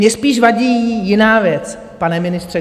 Mě spíš vadí jiná věc, pane ministře.